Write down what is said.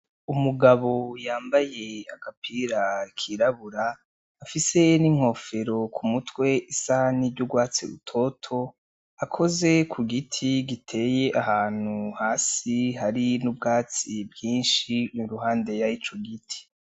Umugabo yambaye agapira kirabura afise n'inkofero ku mutwe isa n'iry'urwatsi rutoto, akoze ku giti giteye ahantu hasi hari n'ubwatsi bwinshi iruhande y'ico giti.